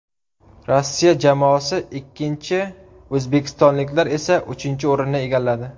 Rossiya jamoasi ikkinchi, o‘zbekistonliklar esa uchinchi o‘rinni egalladi.